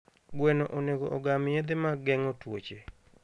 Gweno onego ogam yedhe mag geng'o tuoche.